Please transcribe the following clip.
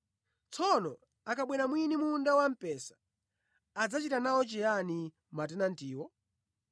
“Tsono akabwera mwini munda wamphesa adzachita nawo chiyani matenantiwo?”